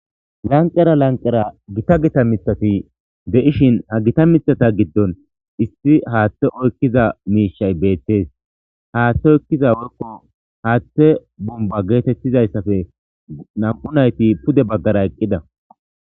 lanqera lanqera gita gita mithati de7ishin ha gita mithata giddon issi haaththe oykkiza miishay beettees haaththe oykkiza worko haaththe bomba geetettizayssafe nam7u nayti pude baggara eqqida